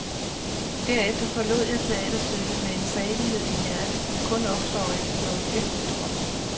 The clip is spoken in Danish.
Derefter forlod jeg teaterstykket med en salighed i hjertet, som kun opstår efter noget virkeligt stort.